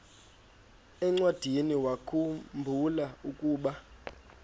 encwadiniwakhu mbula ukuba